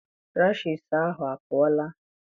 Rashiisi ahụ apụọla?